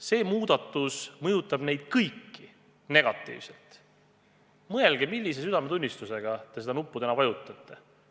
See muudatus mõjutab neid kõiki negatiivselt, nii et mõelge, millise südametunnistusega te seda nuppu täna vajutate.